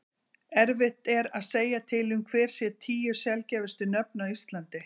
erfitt er að segja til um hver séu tíu sjaldgæfustu nöfn á íslandi